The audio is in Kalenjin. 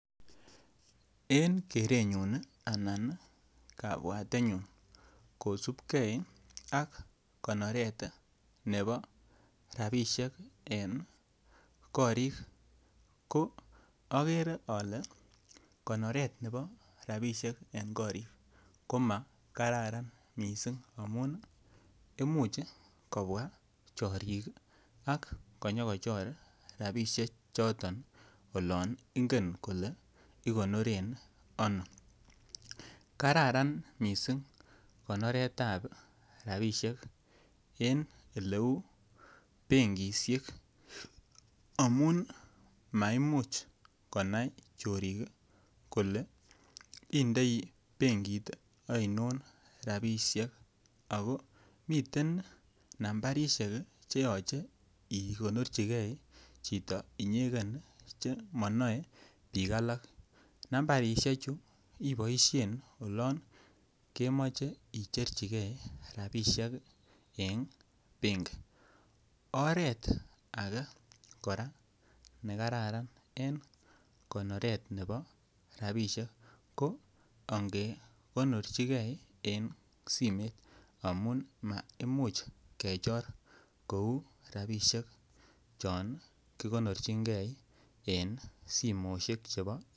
En kerenyun i anan kapwatetnyun kosupgei ak konoret nepo rapisiek en korik ko akere ale konoret nepo rapishek en korik ko ma kararan missing' amun imuchi kopwa chorik ak konyokochor rapishechotok olan ingen kole ikonoren ano. Kararan missing' konoret ap rapishek en ole u penkishek amun maimuch konai chorik kole indei penkit ainon rapishek ako miten nambarishek che yachen ikonorchigei chito inyegen che manae pijk alake . Nambarishechu ipaishen olan kemache icherchigei rapishek en penki. Oret age kora ne kararan en konoret nepo rapishek ko nge konorchigei en simet amun ma imuch kechor ko u rapishek chon kikonorchingei en simoshek.